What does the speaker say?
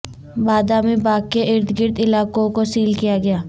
بادامی باغ کے اردگرد علاقوں کو سیل کیا گیا